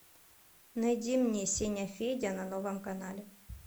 найди мне сеня федя на новом канале